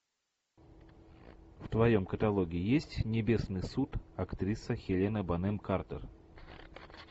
в твоем каталоге есть небесный суд актриса хелена бонем картер